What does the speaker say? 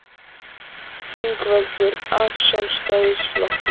Ingveldur: Af Sjálfstæðisflokknum?